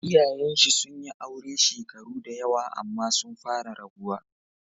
Iyayenshi sun yi aure shekaru da yawa amma sun fara rabuwa.